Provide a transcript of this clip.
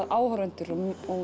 áhorfendur og